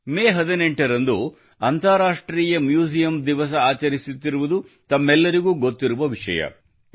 ಮೇ 18ರಂದು ಅಂತರರಾಷ್ಟ್ರೀಯ ಮ್ಯೂಸಿಯಂ ದಿವಸ ಆಚರಿಸುತ್ತಿರುವುದು ತಮ್ಮೆಲ್ಲರಿಗೂ ಗೊತ್ತಿರುವ ವಿಷಯವಾಗಿದೆ